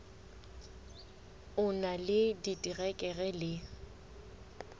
o na le diterekere le